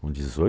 Com